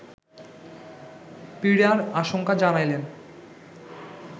পীড়ার আশঙ্কা জানাইলেন